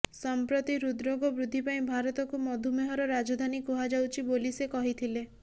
ସଂପ୍ରତ୍ତି ହୃଦ ରୋଗ ବୃଦ୍ଧି ପାଇଁ ଭାରତକୁ ମଧୁମେହର ରାଜଧାନୀ କୁହାଯାଊଚ୍ଥି ବୋଲି ସେ କହିଥିଲେ